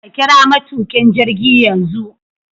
Ka kira matukin jirgi yanzu